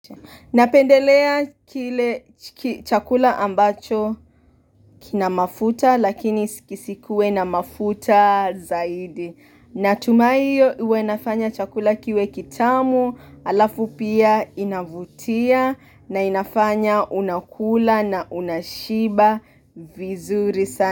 Napendelea kile chakula ambacho kina mafuta lakini kisikue na mafuta zaidi Natumaiyo uenafanya chakula kiwe kitamu alafu pia inavutia na inafanya unakula na unashiba vizuri sana.